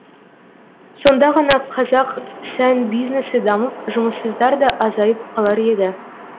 сонда ғана қазақ сән бизнесі дамып жұмыссыздар да азайып қалар еді